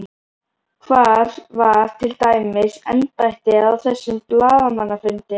Hvar var til dæmis embættið á þessum blaðamannafundi?